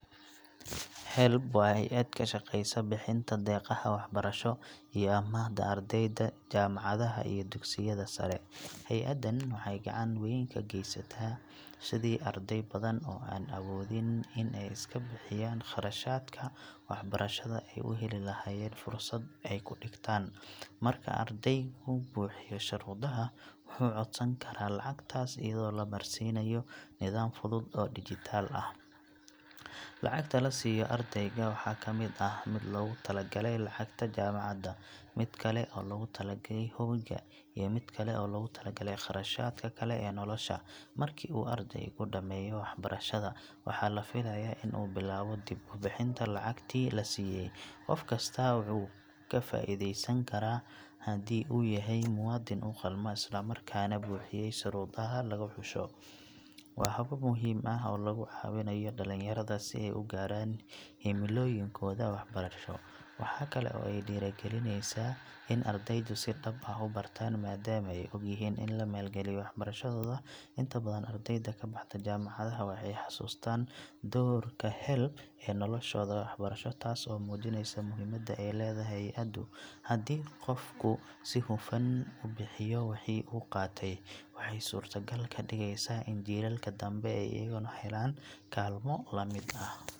HELB waa hay’ad ka shaqeysa bixinta deeqaha waxbarasho iyo amaahda ardayda jaamacadaha iyo dugsiyada sare. Hay’addan waxay gacan weyn ka geysataa sidii arday badan oo aan awoodin in ay iska bixiyaan kharashaadka waxbarashada ay u heli lahaayeen fursad ay ku dhigtaan. Marka ardaygu buuxiyo shuruudaha, wuxuu codsan karaa lacagtaas iyadoo la marsiinayo nidaam fudud oo dhijitaal ah. Lacagta la siiyo ardayga waxaa ka mid ah mid loogu talagalay lacagta jaamacadda, mid kale oo loogu talagalay hoyga iyo mid loogu talagalay kharashaadka kale ee nolosha. Markii uu ardaygu dhammeeyo waxbarashada, waxaa la filayaa in uu bilaabo dib u bixinta lacagtii la siiyay. Qof kastaa wuu ka faa’iideysan karaa haddii uu yahay muwaadin u qalma islamarkaana buuxiyay shuruudaha lagu xusho. Waa hab muhiim ah oo lagu caawinayo dhalinyarada si ay u gaaraan himilooyinkooda waxbarasho. Waxa kale oo ay dhiirrigelisaa in ardaydu si dhab ah u bartaan maadaama ay ogyihiin in la maalgelinayo waxbarashadooda. Inta badan ardayda ka baxda jaamacadaha waxay xusuustaan doorka HELB ee noloshooda waxbarasho, taas oo muujinaysa muhiimadda ay leedahay hay’addu. Haddii qofku si hufan u bixiyo wixii uu qaatay, waxay suurto gal ka dhigaysaa in jiilalka dambe ay iyaguna helaan kaalmo la mid ah.